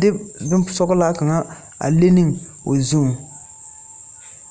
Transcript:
de boŋ sɔglaa kaŋa a le ne o zuŋ.